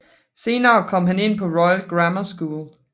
Senere kom han ind på Royal Grammar School